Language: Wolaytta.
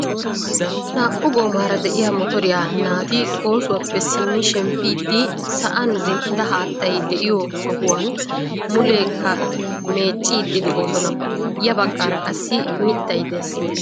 Naa"u goomara de'iyaa motoriyaa naati oosuwaappe simmidi shemppiidi sa'an zin"ida haattay de'iyoo sohuwaan muleekka meecciidi de'oosona. ya baggaara qassi mittay dees.